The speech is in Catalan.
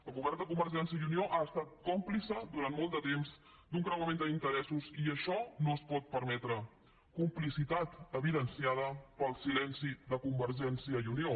el govern de convergència i unió ha estat còmplice durant molt de temps d’un creuament d’interessos i això no es pot permetre complicitat evidenciada pel silenci de convergència i unió